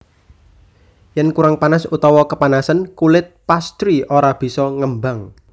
Yen kurang panas utawa kepanasen kulit pastry ora bisa ngembang